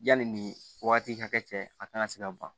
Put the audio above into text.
Yanni nin wagati hakɛ cɛ a kan ka se ka ban